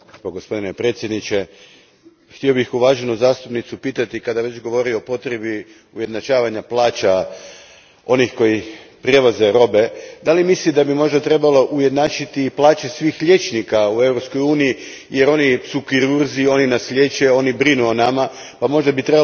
Gospodine predsjedniče, htio bih uvaženu zastupnicu pitati, kada već govori o potrebi ujednačavanja plaća onih koji prevoze robe, da li misli da bi možda trebalo ujednačiti plaće svih liječnika u Europskoj uniji jer su oni kirurzi, oni nas liječe, oni brinu o nama pa bi možda i